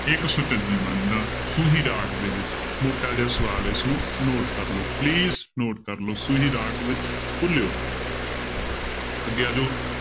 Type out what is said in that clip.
ਇੱਕ ਸੁਚਜੀ ਬਾਣੀ ਦਾ ਸੂਹੀ ਰਾਗ ਦੇ ਵਿੱਚ ਮੋਟਾ ਜਿਹਾ ਸਵਾਲ ਇਸਨੂੰ note ਕਰ ਲਓ please note ਕਰ ਲਓ ਸੂਹੀ ਰਾਗ ਵਿੱਚ ਅੱਗੇ ਆ ਜਾਓ